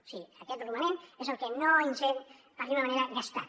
o sigui aquest romanent és el que no ens hem per dir ho d’alguna manera gastat